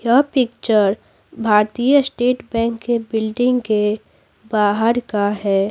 यह picture Bharatiya state bank के building के बाहर का है।